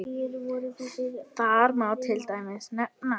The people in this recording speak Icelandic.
Þar má til dæmis nefna